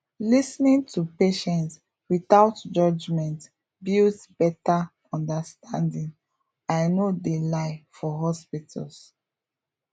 lis ten ing to patients without judgment builds betta understanding i no de lie for hospitals